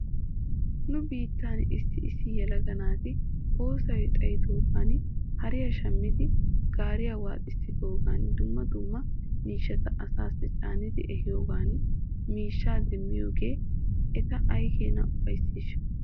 Nu biittan issi issi yelaga naati oosoy xayidoogeeti hariyaa shammidi gaariyaa waaxissiyoogan dumma dumma miishshata asaasi caanidi ehiyoogan miishshaa demmiyoogee eta aykeenaa ufayssiishsha?